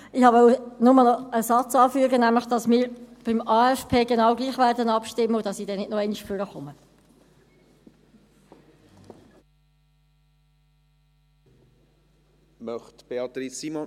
Ich wollte noch einen Satz anfügen, nämlich, dass wir beim AFP genau gleich abstimmen werden, und dass ich dann nicht nochmals ans Rednerpult treten werde.